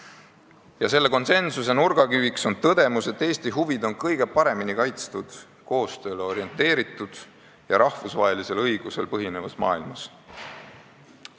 Ja selle konsensuse nurgakiviks on tõdemus, et Eesti huvid on kõige paremini kaitstud koostööle orienteeritud ja rahvusvahelisel õigusel põhinevas maailmas.